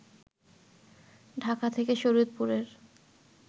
ঢাকা থেকে শরিয়তপুরের